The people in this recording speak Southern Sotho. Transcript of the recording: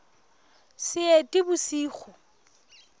seetebosigo